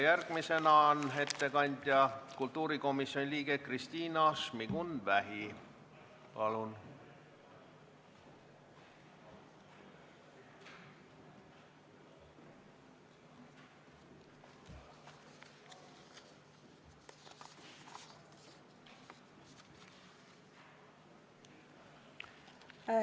Järgmisena palun ettekandeks kõnetooli kultuurikomisjoni liikme Kristina Šmigun-Vähi!